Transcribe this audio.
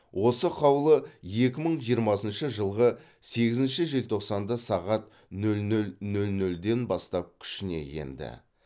осы қаулы екі мың жиырмасыншы жылғы сегізінші желтоқсанда сағат нөл нөл нөл нөлден бастап күшіне енеді